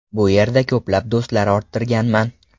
Bu yerda ko‘plab do‘stlar orttirganman.